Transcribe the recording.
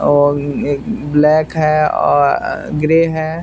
ओमम एक ब्लैक है ओ अ ग्रे है।